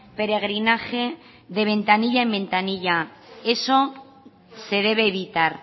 peregrinaje de ventanilla en ventanilla eso se debe evitar